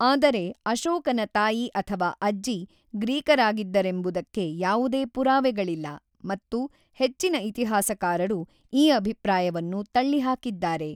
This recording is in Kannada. ಆದರೆ, ಅಶೋಕನ ತಾಯಿ ಅಥವಾ ಅಜ್ಜಿ ಗ್ರೀಕರಾಗಿದ್ದರೆಂಬುದಕ್ಕೆ ಯಾವುದೇ ಪುರಾವೆಗಳಿಲ್ಲ ಮತ್ತು ಹೆಚ್ಚಿನ ಇತಿಹಾಸಕಾರರು ಈ ಅಭಿಪ್ರಾಯವನ್ನು ತಳ್ಳಿಹಾಕಿದ್ದಾರೆ.